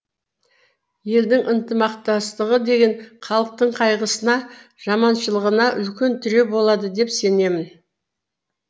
елдің ынтымақтастығы деген халықтың қайғысына жаманшылығына үлкен тіреу болады деп сенемін